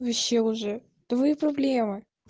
вообще уже твои проблемы